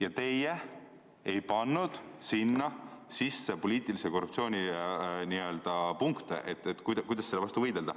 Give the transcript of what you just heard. Aga te ei pannud sinna sisse poliitilise korruptsiooni punkte, seda, kuidas selle vastu võidelda.